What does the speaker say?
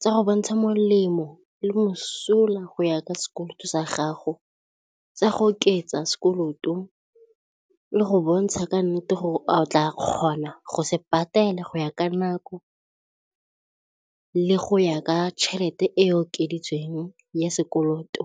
tsa go bontsha molemo le mosola go ya ka sekoloto sa gago, tsa go oketsa sekoloto le go bontsha ka nnete a o tla kgona go se patela go ya ka nako le go ya ka tšhelete e okeditsweng ya sekoloto.